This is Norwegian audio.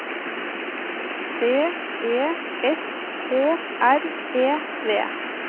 B E S K R E V